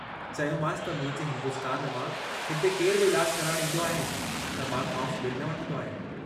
चयोमांस त मुंहिंजे हिन्दुस्तान मां हिते केरु बि इलाजु कराइण ईन्दो आहे त मां खांउस बिलु न वठंदो आहियां।